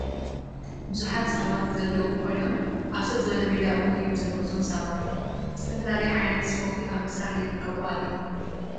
ብዙሓት ሰባት ዘለው ኮይኖምኣብ ሰጥ ዝበለ ሜዳ እውን እዮም ዘለው እቶም ሰባት ዝተፋላለ ዓይነታት ስፖርት ኣብ ምስራሕ ይርከቡ ኣለው ።